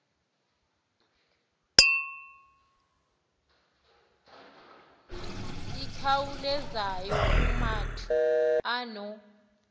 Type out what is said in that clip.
ikhawulezayo umatu ono